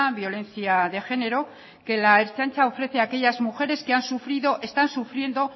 violencia de género que la ertzaintza ofrece a aquellas mujeres que han sufrido están sufriendo